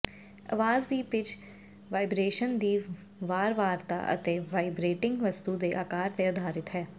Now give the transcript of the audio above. ਆਵਾਜ਼ ਦੀ pitch vibration ਦੀ ਵਾਰਵਾਰਤਾ ਅਤੇ ਵਾਈਬ੍ਰੇਟਿੰਗ ਵਸਤੂ ਦੇ ਆਕਾਰ ਤੇ ਆਧਾਰਿਤ ਹੈ